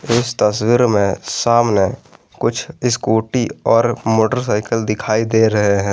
इस तस्वीर में सामने कुछ स्कूटी और मोटरसाइकिल दिखाई दे रहे हैं।